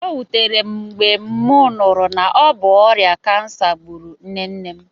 O wutere m mgbe m nụrụ na obu ọrịa kansa gburu nne nne m